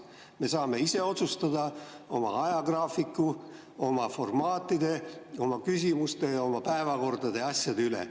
Me saame ise otsustada oma ajagraafiku, oma formaatide, oma küsimuste ja oma päevakordade ja asjade üle.